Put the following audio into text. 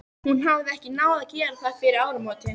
Hún hafði ekki náð að gera það fyrir áramótin.